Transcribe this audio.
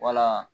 Wala